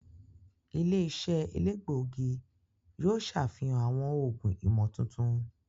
Ile-iṣẹ elegbogi yoo ṣafihan awọn oogun imotuntun.